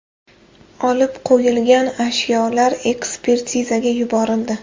Olib qo‘yilgan ashyolar ekspertizaga yuborildi.